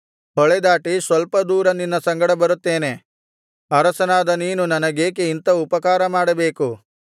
ಹೊಳೆದಾಟಿ ಸ್ವಲ್ಪ ದೂರ ನಿನ್ನ ಸಂಗಡ ಬರುತ್ತೇನೆ ಅರಸನಾದ ನೀನು ನನಗೇಕೆ ಇಂಥ ಉಪಕಾರ ಮಾಡಬೇಕು